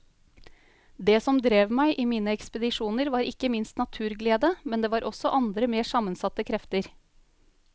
Det som drev meg i mine ekspedisjoner var ikke minst naturglede, men det var også andre mer sammensatte krefter.